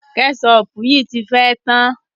Kẹ́ṣọpù yìí ti fẹ́ tán.